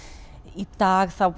í dag þá